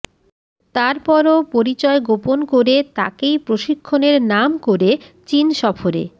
তারপরও পরিচয় গোপন করে তাকেই প্রশিক্ষণের নাম করে চীন সফরে